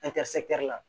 la